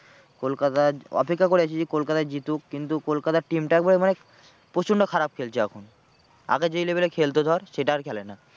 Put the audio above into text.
কলকাতায় অপেক্ষা করে আছি যে কলকাতা জিতুক কিন্তু কলকাতার team টা একবারে মানে প্রচন্ড খারাপ খেলছে এখন আগে যেই level এর খেলতো ধর সেটা আর খেলে না।